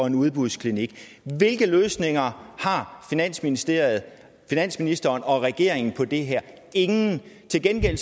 en udbudsklinik hvilke løsninger har finansministeren finansministeren og regeringen på det her ingen til gengæld